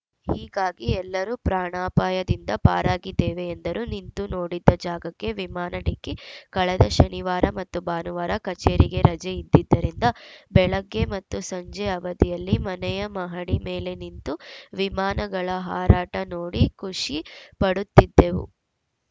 ಹೀಗಾಗಿ ಎಲ್ಲರೂ ಪ್ರಾಣಾಪಾಯದಿಂದ ಪಾರಾಗಿದ್ದೇವೆ ಎಂದರು ನಿಂತು ನೋಡುತ್ತಿದ್ದ ಜಾಗಕ್ಕೆ ವಿಮಾನ ಡಿಕ್ಕಿ ಕಳೆದ ಶನಿವಾರ ಮತ್ತು ಭಾನುವಾರ ಕಚೇರಿಗೆ ರಜೆ ಇದ್ದಿದ್ದರಿಂದ ಬೆಳಗ್ಗೆ ಮತ್ತು ಸಂಜೆ ಅವಧಿಯಲ್ಲಿ ಮನೆಯ ಮಹಡಿ ಮೇಲೆ ನಿಂತು ವಿಮಾನಗಳ ಹಾರಾಟ ನೋಡಿ ಖುಷಿ ಪಡುತ್ತಿದ್ದೆವು